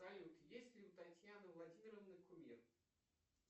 салют есть ли у татьяны владимировны кумир